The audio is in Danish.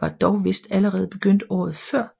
var dog vist allerede begyndt året før